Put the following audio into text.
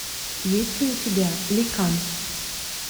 есть ли у тебя ликан